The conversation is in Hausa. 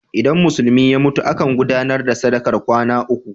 Idan Musulmi ya mutu, akan gudanar da sadakar kwana uku.